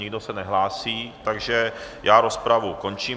Nikdo se nehlásí, takže já rozpravu končím.